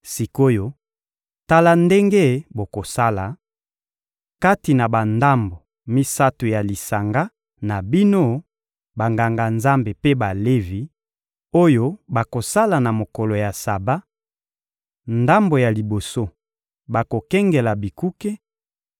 Sik’oyo, tala ndenge bokosala: ‹kati na bandambo misato ya lisanga na bino Banganga-Nzambe mpe Balevi oyo bakosala na mokolo ya Saba, ndambo ya liboso bakokengela bikuke,